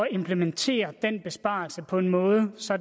implementere den besparelse på en måde så